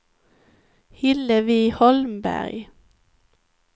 Hillevi Holmberg